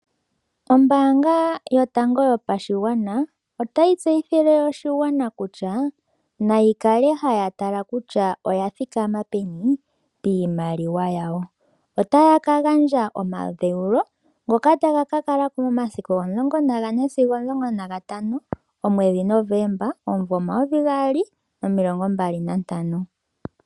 Ombaanga yotango yopashigwana ota yo tseyithile oshigwana kutya naya kale haya tala kutya oya thikama peni piimaliwa yawo otaya ka gandja omadheulo ngoka taga kala ko momasiku omulongo sigo omasiku omulongo nagatano omwedhi Novomba omumvo omayovi gaali nomilongo mbali nantano.